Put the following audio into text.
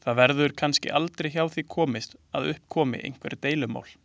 Það verður kannski aldrei hjá því komist að upp komi einhver deilumál.